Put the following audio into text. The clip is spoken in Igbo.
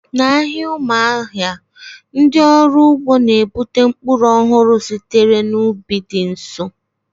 N'ahịa Umuahia, ndị ọrụ ugbo na-ebute mkpụrụ ọhụrụ sitere n'ubi dị nso